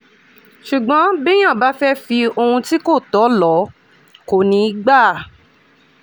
ṣùgbọ́n béèyàn bá fẹ́ẹ́ fi ohun tí kò tọ́ lò ó kò ní í gbà